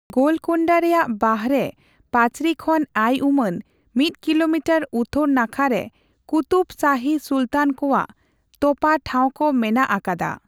ᱜᱳᱞᱠᱳᱱᱰᱟ ᱨᱮᱭᱟᱜ ᱵᱟᱦᱨᱮ ᱯᱟᱹᱪᱨᱤ ᱠᱷᱚᱱ ᱟᱭ ᱩᱢᱟᱹᱱ ᱢᱤᱫ ᱠᱤᱞᱳᱢᱤᱴᱟᱨ ᱩᱛᱛᱚᱨ ᱱᱟᱠᱷᱟ ᱨᱮ ᱠᱩᱛᱩᱵᱽ ᱥᱟᱦᱤ ᱥᱩᱞᱛᱟᱱ ᱠᱚᱣᱟᱜ ᱛᱚᱯᱟ ᱴᱷᱟᱣ ᱠᱚ ᱢᱮᱱᱟᱜ ᱟᱠᱟᱫᱟ ᱾